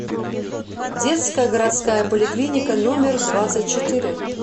детская городская поликлиника номер двадцать четыре